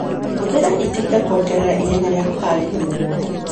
Hũthĩra itinga kuongerera ihenya rĩa kũharĩria mũgunda.